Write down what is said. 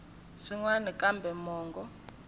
swin wana kambe mongo wa